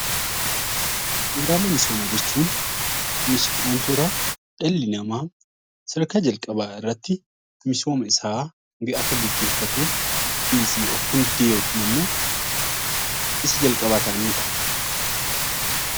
Bu'uuraalee misooma jechuun wantoota dhalli nama sadarkaa jalqabaa irratti misooma isaa akka geggeeffatuf isa jalqabaa ta'anidha.